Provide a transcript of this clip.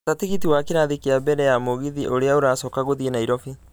gata tĩgiti wa kĩrathi ya mbere ya mũgithi ũrĩa ũracoka gũthiĩ Nairobi